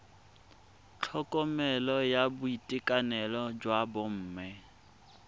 tlhokomelo ya boitekanelo jwa bomme